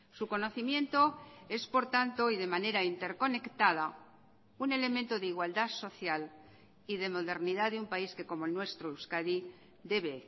su conocimiento es por tanto y de manera interconectada un elemento de igualdad social y de modernidad de un país que como el nuestro euskadi debe